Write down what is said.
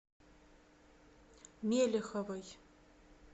мелеховой